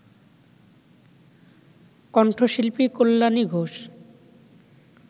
কণ্ঠশিল্পী কল্যাণী ঘোষ